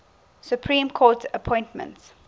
supreme court appointments